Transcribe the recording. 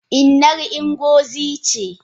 Innar Ngozi ce?